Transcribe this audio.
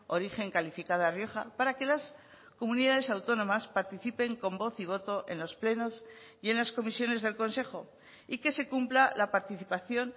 origen calificada rioja para que las comunidades autónomas participen con voz y voto en los plenos y en las comisiones del consejo y que se cumpla la participación